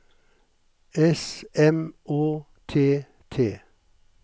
S M Å T T